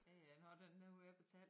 Ja ja når den nu er betalt